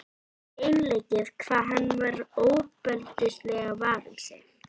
inu sem var varin með öflugri járngrind.